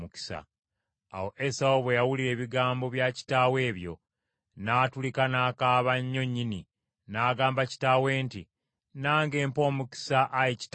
Awo Esawu bwe yawulira ebigambo bya kitaawe ebyo, n’atulika n’akaaba nnyo nnyini, n’agamba kitaawe nti, “Nange mpa omukisa, ayi kitange.”